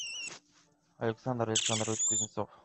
александр александрович кузнецов